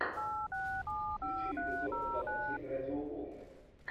включи эпизод двадцать семь радиоволны